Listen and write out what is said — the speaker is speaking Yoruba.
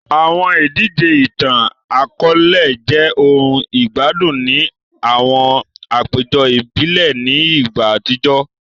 Awọn idije itan-akọọlẹ jẹ ohun igbadun ni awọn apejọ ibile ni igba atijọ